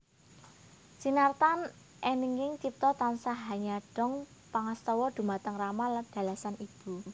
Sinartan eninging cipta tansah hanyadong pangastawa dhumateng rama dalasan ibu